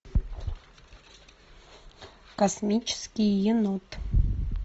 космический енот